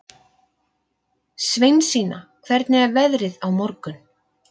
Sveinsína, hvernig er veðrið á morgun?